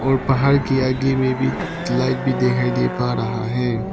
और पहाड़ के आगे में भी लाइट भी दिखाई दे पा रहा है।